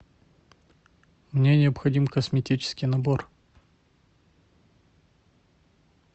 мне необходим косметический набор